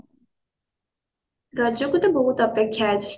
ରଜ କୁ ତ ବହୁତ ଅପେକ୍ଷା ଅଛି।